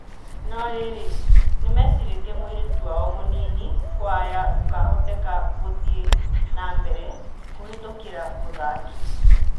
No-rĩrĩ, nimecirĩtie mũirĩtu wao mũnini kwaya gũkahoteka gũthiĩ nambere kũhetũkĩra mũthaki?